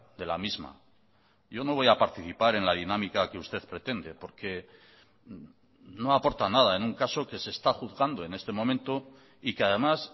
de la misma yo no voy a participar en la dinámica que usted pretende porque no aporta nada en un caso que se está juzgando en este momento y que además